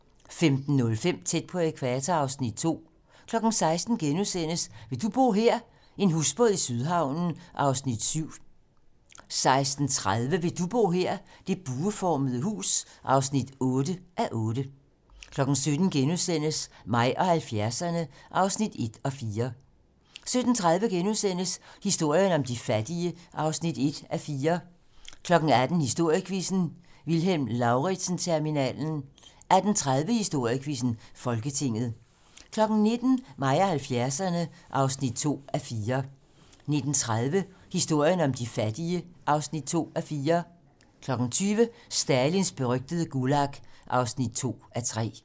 15:05: Tæt på ækvator (Afs. 2) 16:00: Vil du bo her? - En husbåd i Sydhavnen (7:8)* 16:30: Vil du bo her? - Det bueformede hus (8:8) 17:00: Mig og 70'erne (1:4)* 17:30: Historien om de fattige (1:4)* 18:00: Historiequizzen: Vilhelm Lauritzen-terminalen 18:30: Historiequizzen: Folketinget 19:00: Mig og 70'erne (2:4) 19:30: Historien om de fattige (2:4) 20:00: Stalins berygtede Gulag (2:3)